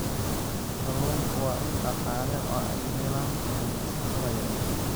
Kalluunku waa il dhaqaale oo ay helaan kalluumaysatada yaryar.